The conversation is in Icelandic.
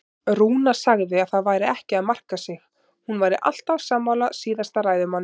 Rúna sagði að það væri ekki að marka sig, hún væri alltaf sammála síðasta ræðumanni.